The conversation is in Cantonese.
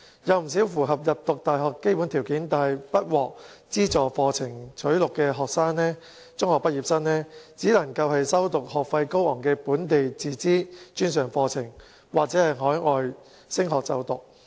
有不少符合入讀大學基本條件但不獲資助課程錄取的中學畢業生，只能修讀學費高昂的本地自資專上課程或往海外升學。